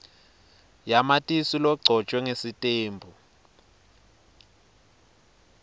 yamatisi legcotjwe sitembu